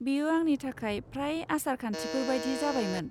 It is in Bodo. बेयो आंनि थाखाय फ्राय आसार खान्थिफोर बायदि जाबायमोन।